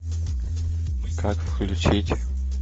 как включить